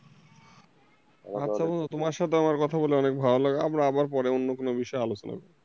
আচ্ছা তোমার সাথে আমার কথা বলে অনেক ভালো লাগে আমরা আবার পরে অন্য কোন বিষয়ে আলোচনা করব।